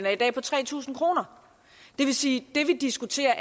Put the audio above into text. er i dag på tre tusind kroner det vil sige at det vi diskuterer